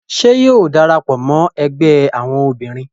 Ṣe yóò darapọ mọ ẹgbẹ awọn obinrin?